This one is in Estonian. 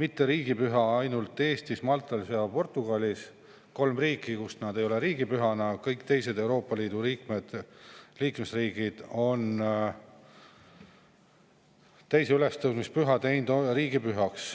riigipüha lisaks Eestile ka Maltal ja Portugalis – kolm riiki, kus see ei ole riigipüha, kõik teised Euroopa Liidu liikmesriigid on selle teinud riigipühaks.